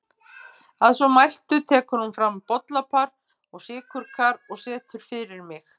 Að svo mæltu tekur hún fram bollapar og sykurkar og setur fyrir mig.